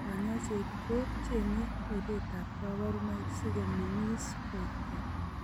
Kanyoiset ko cheng'e ribetab kabarunoik sikomeng'is koek keny.